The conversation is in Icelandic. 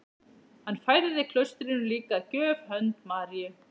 Hann færði klaustrinu líka að gjöf hönd Maríu